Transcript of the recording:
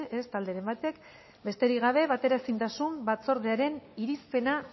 ez talderen batek besterik gabe bateraezintasun batzordearen irizpena